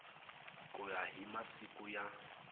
ku ya hi masiku ya